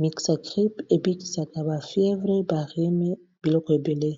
mixakrip ebikisaka bafievre barume biloko ebele